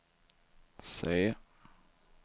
C